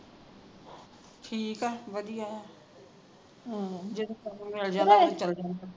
ਠੀਕ ਆ ਵਧੀਏ